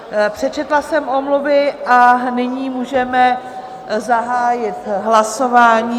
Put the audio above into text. Přečetla jsem omluvy a nyní můžeme zahájit hlasování.